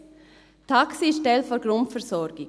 : Das Taxi ist ein Teil der Grundversorgung.